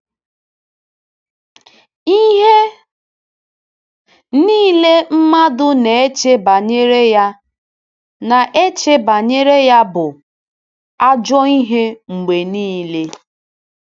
Ihe niile mmadụ na-eche banyere ya na-eche banyere ya bụ “ ajọ ihe mgbe niile. ”